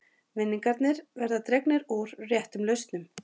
Vinningar verða dregnir úr réttum lausnum